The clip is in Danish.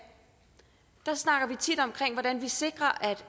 der snakker vi tit om hvordan vi sikrer at